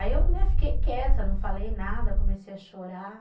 Aí eu, né, fiquei quieta, não falei nada, comecei a chorar.